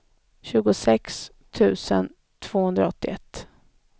tjugosex tusen tvåhundraåttioett